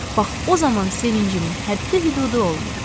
Bax o zaman sevincimin həddi-hüdudu olmur.